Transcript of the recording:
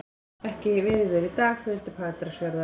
Ekkert veiðiveður í dag, förum til Patreksfjarðar.